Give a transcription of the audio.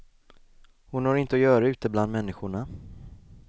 Hon har inte att göra ute bland människorna.